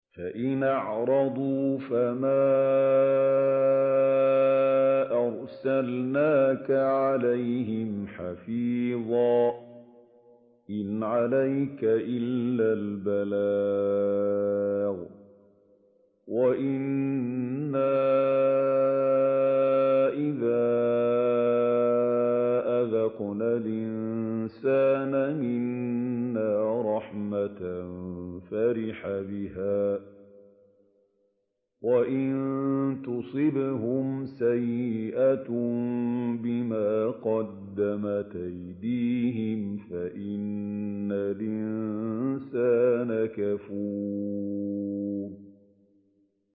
فَإِنْ أَعْرَضُوا فَمَا أَرْسَلْنَاكَ عَلَيْهِمْ حَفِيظًا ۖ إِنْ عَلَيْكَ إِلَّا الْبَلَاغُ ۗ وَإِنَّا إِذَا أَذَقْنَا الْإِنسَانَ مِنَّا رَحْمَةً فَرِحَ بِهَا ۖ وَإِن تُصِبْهُمْ سَيِّئَةٌ بِمَا قَدَّمَتْ أَيْدِيهِمْ فَإِنَّ الْإِنسَانَ كَفُورٌ